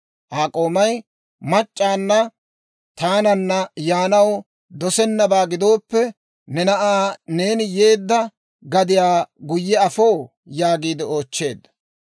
Aa k'oomay, «Mac'c'aanna taananna yaanaw dosennabaa gidooppe, ne na'aa neeni yeedda gadiyaa guyye afoo?» yaagiide oochcheedda.